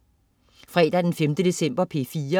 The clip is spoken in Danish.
Fredag den 5. december - P4: